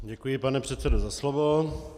Děkuji, pane předsedo, za slovo.